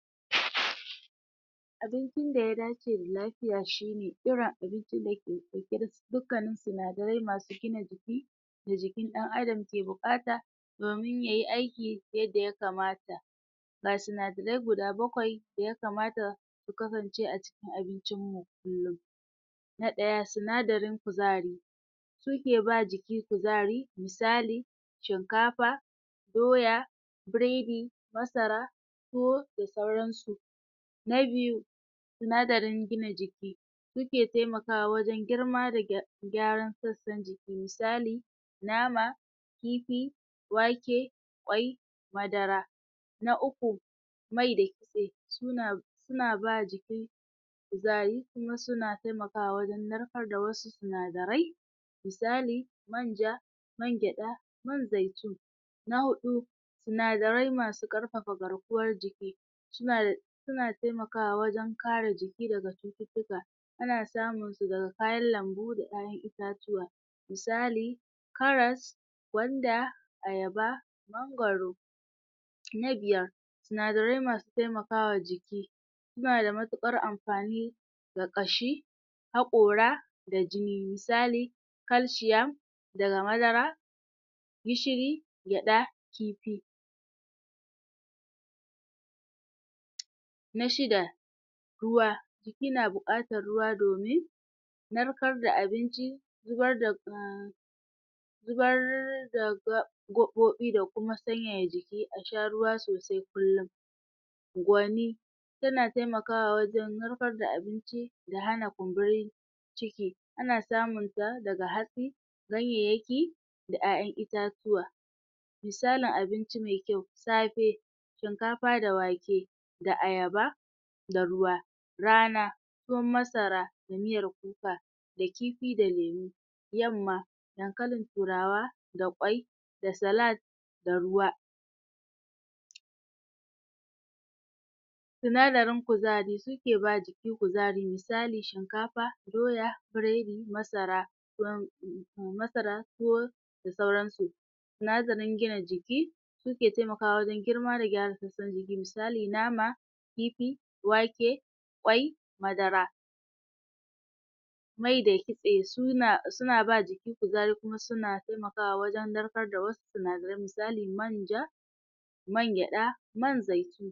abincin da ya dace da lafiya shi irin abincin dake ɗauke da dukkanin sinadarai masu gina jiki da jikin ɗan adam ke buƙata domin yayi aiki yadda ya kamata. ga sinadarai guda bakwai da ya kamata ya kasance a cikin abicin mu kullun na ɗaya sinadarin kuzari suke ba jiki kuzari misali shinkafa, doya, buredi, masara, tuwo da sauran su na biyu sindarain gina jiki suke taimakawa wajen girma da gyaran sassan misali nama, kifi, wake, kwai, madara na uku mai da kitse suna suna ba jiki kuzari kuma suna taimakawa wajen narkar da wasu sinadarai misali manja, man gyaɗa, man zaitun na huɗu sinadarai masu karfafa garkuwar jiki sunada suna taimakawa wajen kare jiki daga cututtuka ana samunsu daga kayan lambu da ƴaƴan itatuwa. misali karas, gwanda, ayaba, mangwaro. na biyar sinadarai masu taimakawa jiki suna da matuƙar amfani ga ƙashi haƙora da jini misali kalshiam daga madara gishiri, gyaɗa, kifi na shida ruwa jiki na buƙatar ruwa domin narkar da abinci zubar da zubar da gaɓoɓi da kuma sanyaya jiki a sha ruwa sosai kullun gwani yana taimakawa wajen narkar da abinci da hana kumburin ciki ana samunta daga hatsi ganyayyaki da ƴaƴan itatuwa misalin abinci mai kyau safe shinkafa da wake da ayaba da ruwa. Rana tuwon masara da miyar kuka da kifi da lemu. Yamma dankalin turawa da kwai da salad da ruwa. sinadarin kuzari suke ba jiki kuzari misali shinkafa, diya, buredi, masara, tuwon masara tuwo da sauran su. sinadarin gina jiki suke taimakawa wajen girma da gyara sassan jiki misali nama kifi wake kwai madara mai da kitse suna suna ba jiki kuzari kuma suna taimakawa wajen narkar da wasu sinadarai misali manja man gyaɗa man zai.